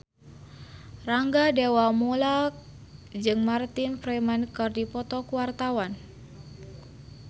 Rangga Dewamoela jeung Martin Freeman keur dipoto ku wartawan